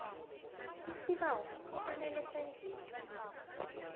isibawo kufanele senziwe